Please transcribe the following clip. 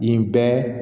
Yen bɛɛ